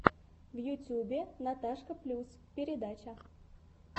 в ютьюбе наташка плюс передача